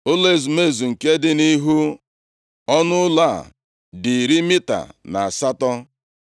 Ụlọ ezumezu nke dị nʼihu ọnụụlọ a dị iri mita na asatọ.